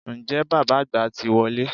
Ǹjẹ́ bàbá àgbà ti wọlé?